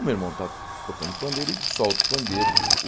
O meu irmão está tocando pandeiro, ele solta o pandeiro.